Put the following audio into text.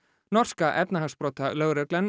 norska